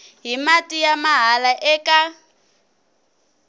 hi mati ya mahala eka